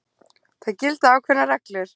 Það gilda ákveðnar reglur.